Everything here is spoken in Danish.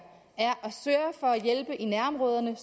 at sørge for at hjælpe i nærområderne